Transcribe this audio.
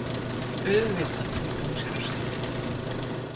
Auðvitað, flýtti hún sér að segja.